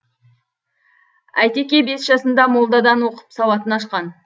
әйтеке бес жасында молдадан оқып сауатын ашқан